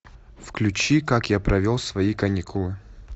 включи как я провел свои каникулы